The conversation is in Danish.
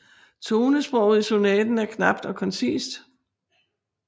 Tonesproget i sonaten er knapt og koncist